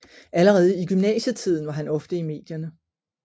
Allerede i gymnasietiden var han ofte i medierne